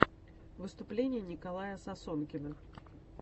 выступление николая сосонкина